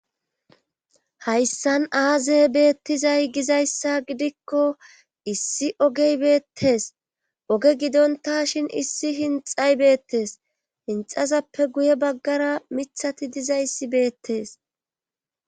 Hayssan aaze beettizay gizayssa gidikko issi ogey beettes oge gidonta shin issi hinxay beettes hinxazappe guye baggara mithati dizayssi beettees